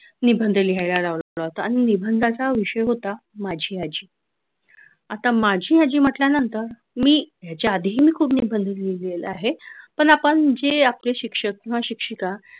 निबंध लिहायला लावतात आणि निबंधाचा विषय होता माझी आजी आता माझी आजी म्हटल्यानंतर मी त्याच्या आधीही मी खूप निबंध लिहिलेला आहे पण आपण जे आपले शिक्षक किंवा शिक्षिका